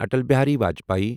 Atal Bihari Vajpayee